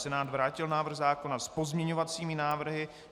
Senát vrátil návrh zákona s pozměňovacími návrhy.